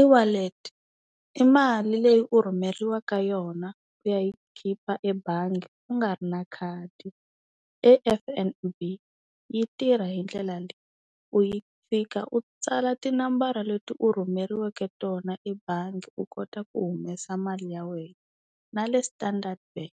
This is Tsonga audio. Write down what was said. E-wallet i mali leyi u rhumeriwaka yona ku ya yi khipa ebangi u nga ri na khadi. E F_N_B yi tirha hi ndlela leyi, u yi fika u tsala tinambara leti u rhumeriweke tona ebangi u kota ku humesa mali ya wena. Na le Standard Bank